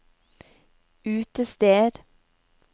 utested